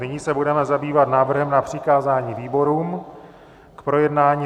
Nyní se budeme zabývat návrhem na přikázání výborům k projednání.